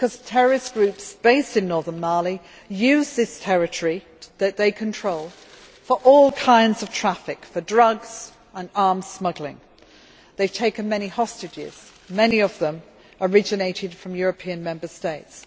Terrorist groups based in northern Mali use this territory that they control for all kinds of traffic, for drugs and arms smuggling. They have taken many hostages, many of them originated from European Member States.